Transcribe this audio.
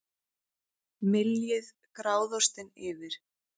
Myljið gráðaostinn yfir.